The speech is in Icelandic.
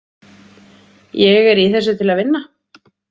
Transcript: Ég er í þessu til að vinna.